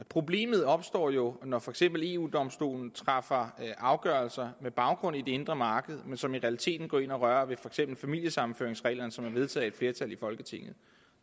problemet opstår jo når for eksempel eu domstolen træffer afgørelser på baggrund af det indre marked men som i realiteten går ind og rører ved for eksempel familiesammenføringsreglerne som er vedtaget af et flertal i folketinget